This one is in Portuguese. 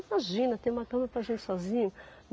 Imagina, ter uma cama para a gente sozinho.